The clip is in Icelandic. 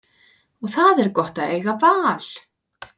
Og það er gott að eiga val.